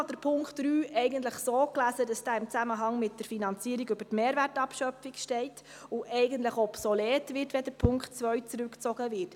Ich habe den Punkt 3 so gelesen, dass er im Zusammenhang mit der Finanzierung über die Mehrwertabschöpfung steht und eigentlich obsolet wird, wenn der Punkt 2 zurückgezogen wird.